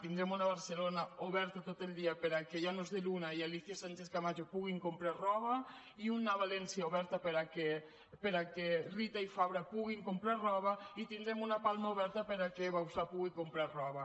tindrem una barcelona oberta tot el dia perquè llanos de luna i alícia sánchezcamacho puguin comprar roba i una valència oberta perquè rita i fabra puguin comprar roba i tindrem una palma oberta perquè bauzá pugui comprar roba